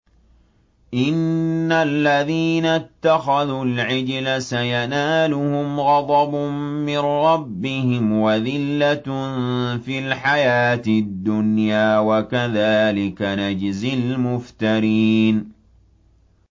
إِنَّ الَّذِينَ اتَّخَذُوا الْعِجْلَ سَيَنَالُهُمْ غَضَبٌ مِّن رَّبِّهِمْ وَذِلَّةٌ فِي الْحَيَاةِ الدُّنْيَا ۚ وَكَذَٰلِكَ نَجْزِي الْمُفْتَرِينَ